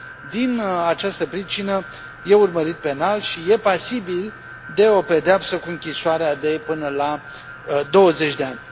Din această pricină, e urmărit penal și e pasibil de o pedeapsă cu închisoarea de până la douăzeci de ani.